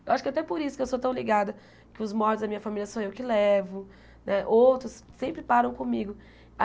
Acho que até por isso que eu sou tão ligada, que os mortos da minha família sou eu que levo né, outros sempre param comigo.